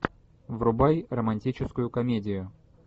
врубай романтическую комедию